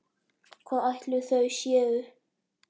Hvar ætli þau séu?